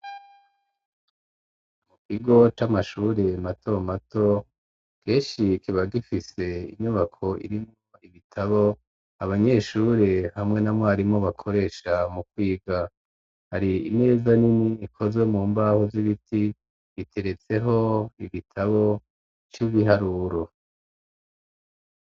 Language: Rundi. Mu kigo c'amashure mato mato keshi kiba gifise inyubako irimwo ibitabo abanyeshure hamwe na mwarimu bakoresha mu kwiga hari imeza nini ikozwe mu mbaho z'ibiti biteretseho ibitabo c'ibiharuro.